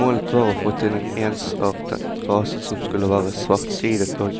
Målet var å få til en ensartet rase som skulle være svartsidet og